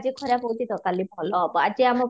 ଆଜି ଖରାପ ହେଉଛି ତ କାଲି ଭଲ ହେବ ଆଜି ଆମ ପାଇଁ